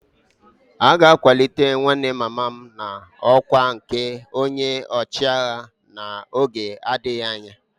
A ga-akwalite nwanne mama m n'ọkwá nke onye ọchịagha n'oge na-adịghị anya